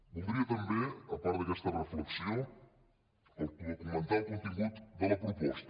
voldria també a part d’aquesta reflexió documentar el contingut de la proposta